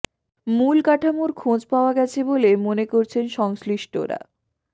মূল কাঠামোর খোঁজ পাওয়া গেছে বলে মনে করছেন সংশ্লিষ্টরা